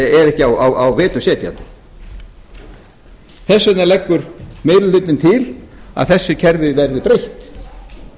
er ekki á vetur setjandi þess vegna leggur gerir hlutinn til að þessu kerfi verði breytt